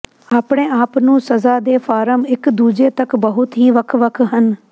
ਆਪਣੇ ਆਪ ਨੂੰ ਸਜ਼ਾ ਦੇ ਫਾਰਮ ਇਕ ਦੂਜੇ ਤੱਕ ਬਹੁਤ ਹੀ ਵੱਖ ਵੱਖ ਹਨ